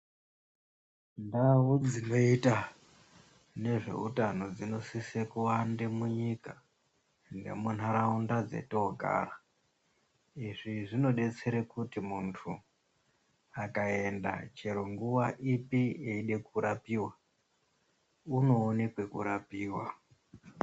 Ndau dzinoita nezveutano dzinosise kuwanda munyika nemunharaunda dzetogara izvi zvinodetsere kuti muntu akaenda chero nguwa ipi eide kurapiwa unoone kwekurapiwa.